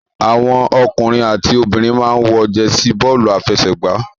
Àwọn ọkùnrin àti obìnrin máa ń wọ jẹsí bọ́ọ́lù-afẹsẹ̀gbá.